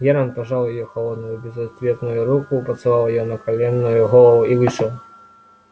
германн пожал её холодную безответную руку поцеловал её наклонённую голову и вышел